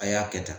A y'a kɛ tan